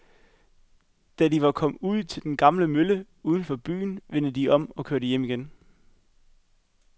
Da de var kommet ud til den gamle mølle uden for byen, vendte de om og kørte hjem igen.